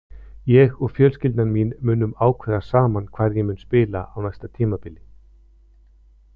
Ég og fjölskyldan mín munum ákveða saman hvar ég mun spila á næsta tímabili.